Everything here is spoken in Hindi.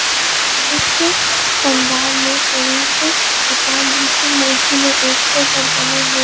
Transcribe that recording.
पंडाल में कहीं पर भगवान जी की मूर्ति में --